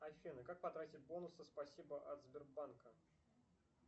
афина как потратить бонусы спасибо от сбербанка